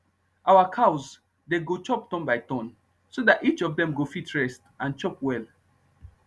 our cows dey go chop turn by turn so dat each of dem go fit rest and chop well